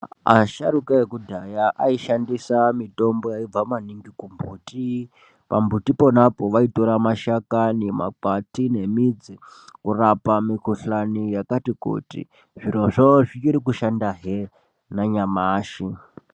Asharuka ekudhaya aishandisa mitombo yaibva maningi kumbuti, pambutiponapo vaitora mashakani, makwati nemidzi kurapa mikhulani yakati kuti. Zvirozvo zvichiri kushandahe nanyamashi